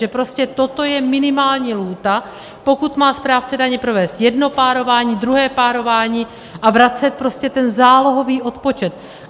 Že prostě toto je minimální lhůta, pokud má správce daně provést jedno párování, druhé párování a vracet prostě ten zálohový odpočet.